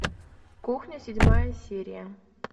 кухня седьмая серия